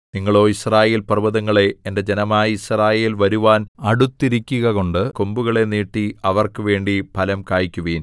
നിങ്ങളോ യിസ്രായേൽപർവ്വതങ്ങളേ എന്റെ ജനമായ യിസ്രായേൽ വരുവാൻ അടുത്തിരിക്കുകകൊണ്ട് കൊമ്പുകളെ നീട്ടി അവർക്ക് വേണ്ടി ഫലം കായിക്കുവിൻ